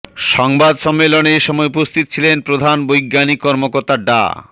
সংবাদ সম্মেলনে এসময় উপস্থিত ছিলেন প্রধান বৈজ্ঞানিক কর্মকর্তা ডা